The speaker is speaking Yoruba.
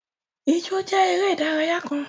Ìjọ̀ jẹ̀ èrè idaraya kàn.